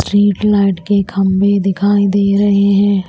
Streetlight के खंबे दिखाई दे रहे हैं।